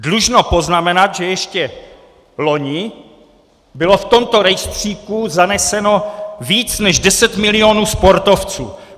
Dlužno poznamenat, že ještě loni bylo v tomto rejstříku zaneseno více než 10 milionů sportovců.